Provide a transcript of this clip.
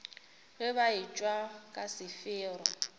ge ba etšwa ka sefero